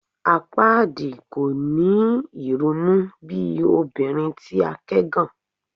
Apaadi kò ni irunu bi obinrin ti a kẹgàn